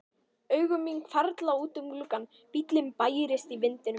Augu mín hvarfla út um gluggann, bíllinn bærist í vindinum.